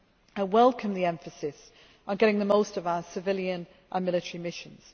I welcome the emphasis on getting the most from our civilian and military missions.